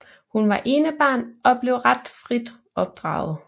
Hun var enebarn og blev ret frit opdraget